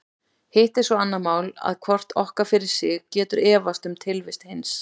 Hitt er svo annað mál að hvort okkar fyrir sig getur efast um tilvist hins.